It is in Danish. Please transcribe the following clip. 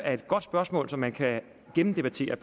er et godt spørgsmål som man kan gennemdebattere